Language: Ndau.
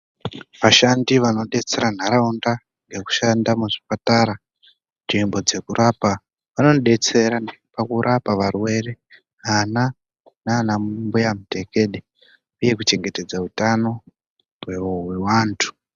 Ashandi anodetsera nharaunda nekushanda muzvipatara, nzvimbo dzekurapa vanodeysera pakurapa varwere, ana nanambuya mutekede uye kuchengetedza utano hweantu.